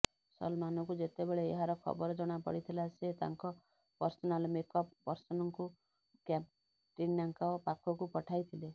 ସଲମାନଙ୍କୁ ଯେତେବେଳେ ଏହାର ଖବର ଜଣାପଡିଥିଲା ସେ ତାଙ୍କ ପର୍ସନାଲ ମେକଅପ୍ ପର୍ସନଙ୍କୁ କ୍ୟାଟ୍ରିନାଙ୍କ ପାଖକୁ ପଠାଇଥିଲେ